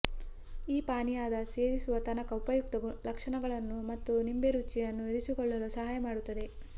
ಈ ಪಾನೀಯದ ಸೇರಿಸುವ ತನಕ ಉಪಯುಕ್ತ ಲಕ್ಷಣಗಳನ್ನು ಮತ್ತು ನಿಂಬೆ ರುಚಿಯನ್ನು ಇರಿಸಿಕೊಳ್ಳಲು ಸಹಾಯ ಮಾಡುತ್ತದೆ